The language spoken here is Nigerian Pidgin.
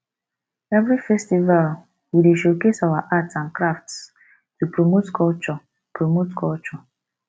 every festival we dey showcase our art and crafts to promote culture promote culture